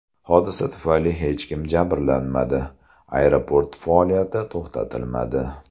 Hodisa tufayli hech kim jabrlanmadi, aeroport faoliyati to‘xtatilmadi.